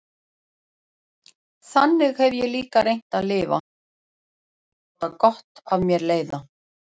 Þannig hef ég líka reynt að lifa, reynt að láta gott af mér leiða.